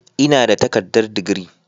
Ina da takardar digiri.